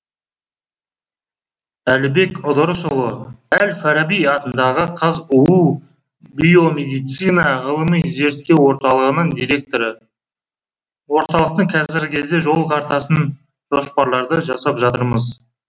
әлібек ыдырысұлы әл фараби атындағы қазұу биомедицина ғылыми зерттеу орталығының директоры орталықтың қазіргі кезде жол картасын жоспарларды жасап жатырмыз